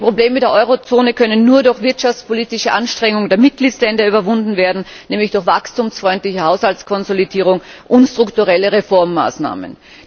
Die Probleme der Eurozone können nur durch wirtschaftspolitische Anstrengungen der Mitgliedsländer überwunden werden, nämlich durch wachstumsfreundliche Haushaltskonsolidierung und strukturelle Reformmaßnahmen.